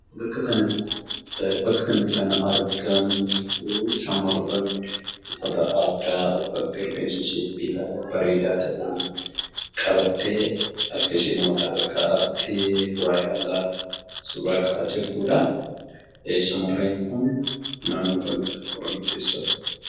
Bakka kanatti kan argamtu shamarree uffata aadaa uffattee rifeensa ishee bareedaa ta'een qabattee harkasheemmoo mataarra kaa'attee waa ilaalaa suuraa ka'aa jirtuudha. Shamarreen kun naannoo kamidha oromoo keessaa?